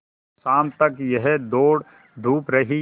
शाम तक यह दौड़धूप रही